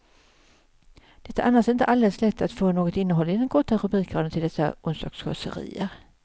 Det är annars inte alldeles lätt att få något innehåll i den korta rubrikraden till dessa onsdagskåserier.